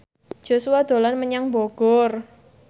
Joshua dolan menyang Bogor